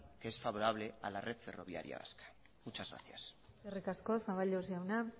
que es favorable a la red ferroviaria vasca muchas gracias eskerrik asko zaballos jauna